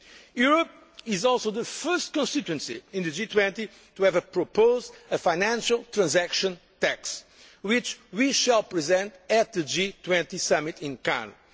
support. Europe is also the first constituency in the G20 to have proposed a financial transaction tax, which we shall present at the G20 summit in